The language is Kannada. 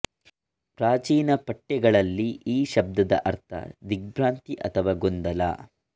ಪ್ರಾಚೀನ ಪಠ್ಯಗಳಲ್ಲಿ ಈ ಶಬ್ದದ ಅರ್ಥ ದಿಗ್ಭ್ರಾಂತಿ ಅಥವಾ ಗೊಂದಲ